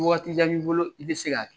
Ni waati jan b'i bolo, i bɛ se ka kɛ